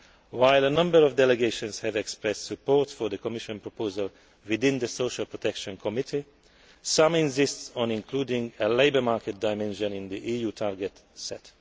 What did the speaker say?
While a number of delegations have expressed support for the Commission proposal within the Social Protection Committee, some insist on including a labour market dimension in the EU target